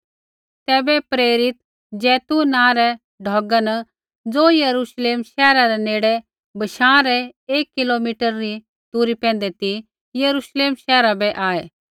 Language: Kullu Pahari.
तैबै प्रेरित ज़ैतून नाँ रै ढौगा न ज़ो यरूश्लेम शैहरा रै नेड़े बशाँ रै एक किलो मिटरा री दूरी पैंधै ती यरूश्लेम शैहरा बै आऐ